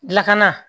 Lakana